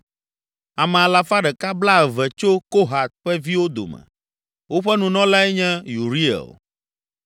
Ame alafa ɖeka blaeve (120) tso Kohat ƒe viwo dome, woƒe Nunɔlae nye Uriel.